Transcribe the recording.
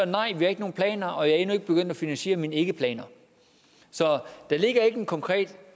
nej vi har ikke nogen planer og jeg er endnu ikke begyndt at finansiere mine ikkeplaner så der ligger ikke en konkret